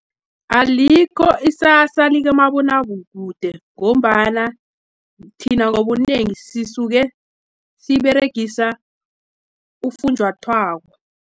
Alikho isasa likamabonakude ngombana, thina ngobunengi sisuke siberegisa ufunjathwako.